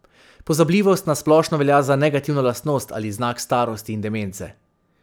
Pozabljivost na splošno velja za negativno lastnost ali znak starosti in demence.